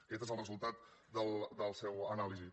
aquest és el resultat de la seva anàlisi